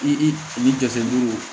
I ni dɛsɛ duuru